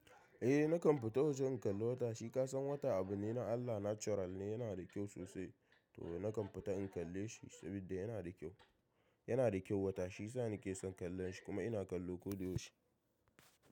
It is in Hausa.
Eh nakan fita waje in kalla wata, shi ka san wata abu ne na Allah natural ne yana da kyau sosai to nakan fita in kalle shi saboda yana da kyau. Yana da kyau wata shi sa ni ke son kallon shi kuma ina kallo koyaushe.